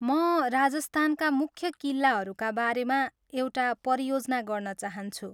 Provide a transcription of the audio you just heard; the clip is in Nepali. म राजस्थानका मुख्य किल्लाहरूका बारेमा एउटा परियोजना गर्न चाहन्छु।